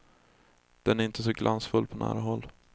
Den är inte så glansfull på nära håll.